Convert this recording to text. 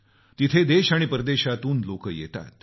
तिथं देश आणि परदेशातून लोक येतात